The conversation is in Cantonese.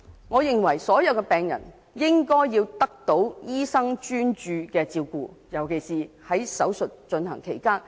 我認為所有病人都應該得到醫生專注的照顧，尤其是在手術進行期間。